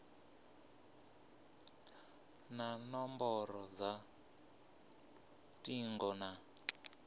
na nomboro dza lutingo na